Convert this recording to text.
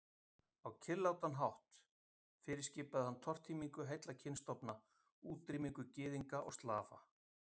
Á kyrrlátan. hátt fyrirskipaði hann tortímingu heilla kynstofna, útrýmingu Gyðinga og Slafa.